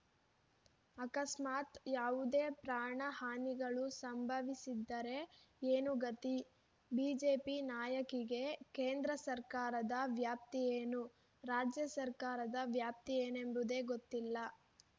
ಆಕಸ್ಮಾತ್‌ ಯಾವುದೇ ಪ್ರಾಣ ಹಾನಿಗಳು ಸಂಭವಿಸಿದ್ದರೆ ಏನು ಗತಿ ಬಿಜೆಪಿ ನಾಯಕಿಗೆ ಕೇಂದ್ರ ಸರ್ಕಾರದ ವ್ಯಾಪ್ತಿಯೇನು ರಾಜ್ಯ ಸರ್ಕಾರದ ವ್ಯಾಪ್ತಿಯೇನೆಂಬುದೇ ಗೊತ್ತಿಲ್ಲ